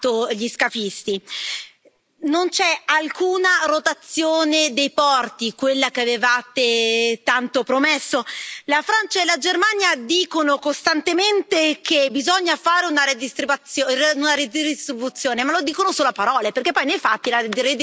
Non c'è alcuna rotazione dei porti, quella che avevate tanto promesso. La Francia e la Germania dicono costantemente che bisogna fare una redistribuzione, ma lo dicono solo a parole perché poi, nei fatti, la redistribuzione non la fanno.